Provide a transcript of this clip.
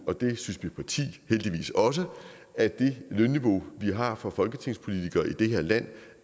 og det synes mit parti heldigvis også at det lønniveau vi har for folketingspolitikere i det her land